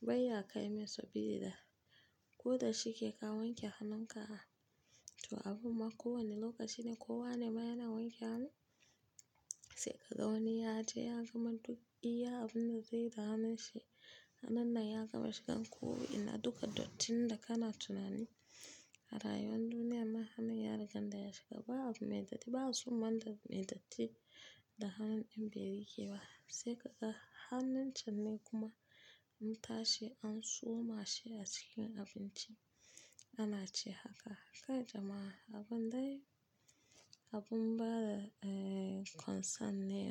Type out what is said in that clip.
bai ya kai masu sabida ko da shike ka wanke hannun ka. To abun ma ko wane lokaci ne kowa ne ma yana wanke hannu. Sai ka ga wani ya je ya gama duk iya abun da zai da hanun shi. Hannun nan ya gama shigan ko ina duka dattin da kana tunani. A rayuwar duniya nan hannun yari ganda ya shiga ba'a soma mai datti ba soma abu mai datti da hannun ɗa yarike ba. Sai ka ga hannun can ne kuma mu tashi an tsoma shi a cikin abinci ana ci haka haka jama'a abun dai abun bada, eh, concern ne.